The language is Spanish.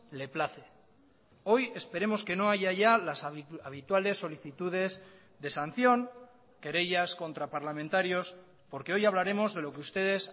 le place hoy esperemos que no haya ya las habituales solicitudes de sanción querellas contra parlamentarios porque hoy hablaremos de lo que ustedes